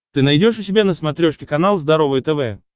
ты найдешь у себя на смотрешке канал здоровое тв